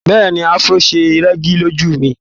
Bẹ́ẹ̀ni Afro ṣe rẹ́gí lójú ẹ.